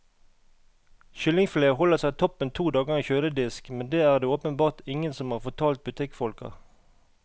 Kyllingfilet holder seg toppen to dager i en kjøledisk, men det er det åpenbart ingen som har fortalt butikkfolka.